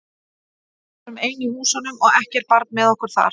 Við vorum ein í húsunum og ekkert barn með okkur þar.